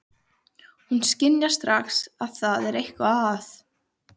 Hún skynjar strax að það er eitthvað að.